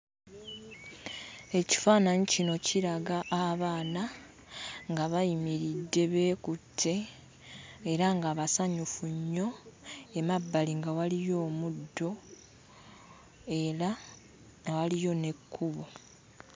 Ekifaananyi kino kiraga abaana nga bayimiridde beekutte era nga basanyufu nnyo, emabbali nga waliyo omuddo era nga waliyo n'ekkubo.